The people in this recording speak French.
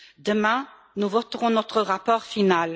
Demain, nous voterons notre rapport final.